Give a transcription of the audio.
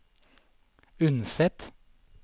Unset